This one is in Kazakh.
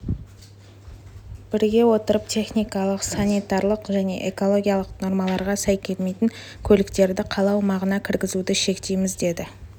біріге отырып техникалық санитарлық және экологиялық нормаларға сай келмейтін көліктерді қала аумағына кіргізуді шектейміз деді